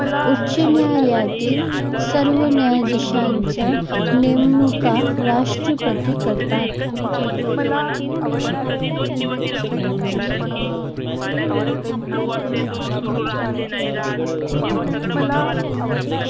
उच्च न्यायालयातील सर्व न्यायाधीशांच्या नेमणुका राष्ट्रपती करतात.